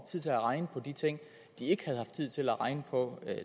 tid til at regne på de ting de ikke havde haft tid til at regne på